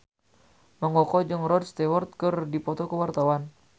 Mang Koko jeung Rod Stewart keur dipoto ku wartawan